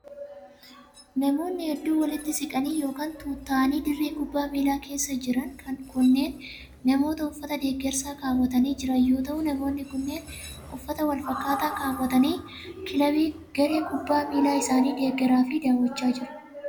Namoonni hedduun walitti siqanii yokin tuutta'anii dirree kubbaa miilaa keessa jiran kunneen namoota uffata deeggarsaa kaawwatanii jiran yoo ta'u, namoonni kunneen uffata wal fakkaataa kaawwatanii kilabii garee kubbaa miilaa isaanii deeggaraa fi daawwachaa jiru.